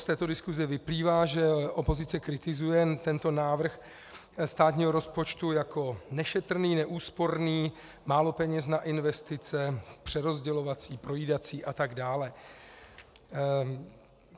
Z této diskuse vyplývá, že opozice kritizuje tento návrh státního rozpočtu jako nešetrný, neúsporný, málo peněz na investice, přerozdělovací, projídací a tak dále.